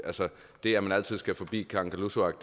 det at man altid skal forbi kangerlussuaq